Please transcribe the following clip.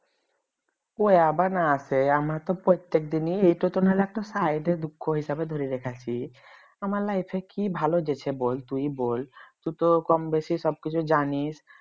ওইয়া আবার না আসে আমার তো প্রত্যেক দিনই এরা তো না হলে একটা side এর দুঃখ হিসেবে ধরে রেখেছি আমার life এ কি ভালোগেছে তুই বল তুই তো কমবেশি সব কিছু জানিস